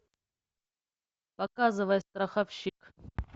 показывай страховщик